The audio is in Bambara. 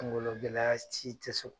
kungologɛlɛya ci tɛ so